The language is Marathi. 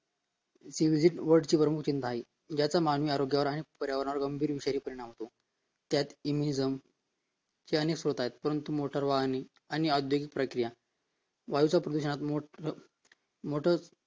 ती आहे त्याचा मानवी जीवनावर आणि पर्यावरणावर गंभीर रित्या परिणाम होतो त्यात Enmizum चे अनेक स्रोत आहे परंतु motor वाहन आणि औद्योगिक प्रक्रिया वायूच्या प्रदूषणात motor